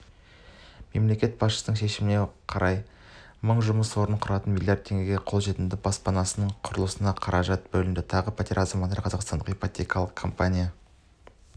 мемлекет басшысының шешіміне орай мың жұмыс орнын құратын млрд теңгенің қолжетімді баспанасының құрылысына қаражат бөлінді тағы пәтерді азаматтарға қазақстандық ипотекалық компания